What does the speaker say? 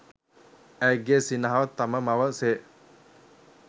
ඇයගේ සිනහව තම මව සේ